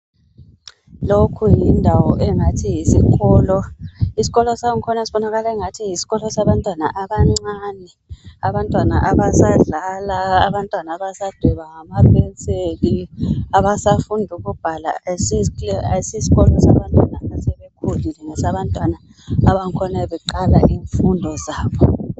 Lokhu yindawo engathi yisikolo. Isikolo sangkhona sibonakala engani yisikolo sabantwana abancane abasadlala abantwana abasadweba ngampenseli abasafunda ukubhala akusisikolo sabantwana asebekhulile ngesabantwana abangkhona beqala izifundo zabo